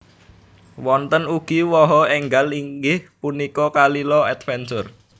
Wonten ugi waha enggal inggih punika Kalila Adventure